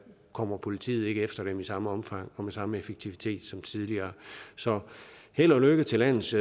kommer politiet ikke efter dem i samme omfang og med samme effektivitet som tidligere så held og lykke til landets